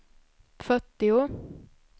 fyrtio